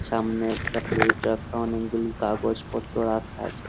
সামনে একটা প্লেট রাখা অনেকগুলি কাগজপত্র রাখা আছে।